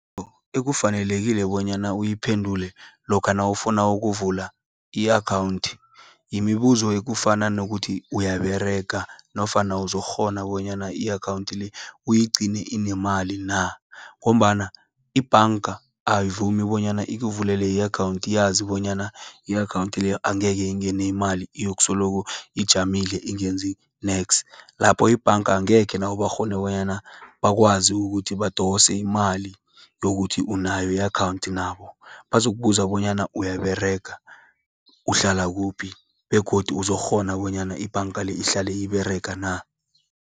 Ekufanelekile bonyana uyiphendule, lokha nawufuna ukuvula i-akhawundi. Yimibuzo ekufana nokuthi uyaberega, nofana uzokghona bonyana i-akhawunti le, uyigcine inemali na. Ngombana ibhanga ayivumi bonyana ikuvulela i-akhawunti, uyazi bonyana i-akhawunti leyo angeke ingene imali, iyokusoloko ijamile ingenzi neks. Lapho ebhanga angekhe nabo bakghone, bonyana bakwazi ukuthi badose imali yokuthi unayo i-akhawundi nabo. Bazokubuza bonyana uyaberega, uhlala kuphi, begodu uzokghona bonyana ibhanga le, ihlale iberega na.